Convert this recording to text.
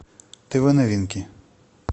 тв новинки